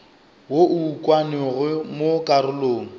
wo o ukangwego mo karolong